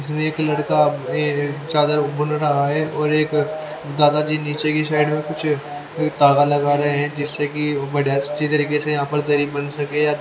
उसमें एक लड़का ये एक चादर खोल रहा है और एक अ दादाजी नीचे के साईड में कुछ अ तागा लगा रहे है जिससे कि वो बढ़िया अच्छी तरीके से यहा पर दरी बंध सके--